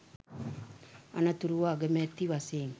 අනතුරුව අගමැති වශයෙන්